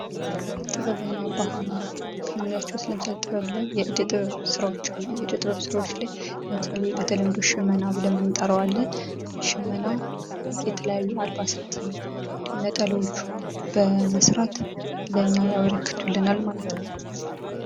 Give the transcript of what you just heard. ጥበብና ባህል ከምንላቸዉ ዉስጥ ለምሳሌ የእደ ጥበብ ስራዎች አሉ። የእደ ጥበብ ስራዎች ላይ ለምሳሌ በተለምዶ ሽመና ብለን የምንጠራዉ አለ። ሽመና የተለያዩ አልባሳትን ነጠላዎች በመስራት ለእኛ ያበረክቱልናል ማለት ነዉ።